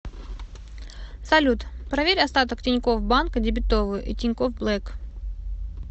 салют проверь остаток тинькофф банка дебетовую и тинькофф блэк